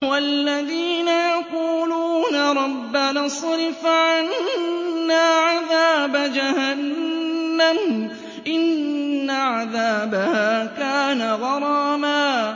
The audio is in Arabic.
وَالَّذِينَ يَقُولُونَ رَبَّنَا اصْرِفْ عَنَّا عَذَابَ جَهَنَّمَ ۖ إِنَّ عَذَابَهَا كَانَ غَرَامًا